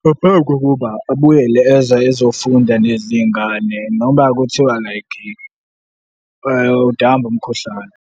ngaphambi kokuba abuyele eza ezofunda nezinye izingane noma kuthiwa like udambe umkhuhlane.